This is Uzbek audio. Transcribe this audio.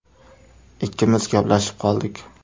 Ikkimiz gaplashib qoldik.